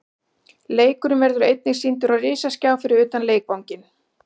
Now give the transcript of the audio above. Leikurinn verður einnig sýndur á risaskjá fyrir utan leikvanginn.